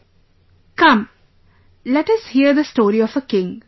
"Come, let us hear the story of a king